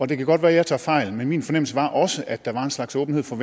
det kan godt være jeg tager fejl men min fornemmelse var også at der var en slags åbenhed fra